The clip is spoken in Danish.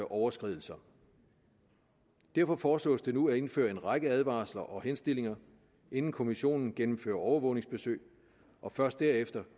overskridelser derfor foreslås det nu at indføre en række advarsler og henstillinger inden kommissionen gennemfører overvågningsbesøg og først derefter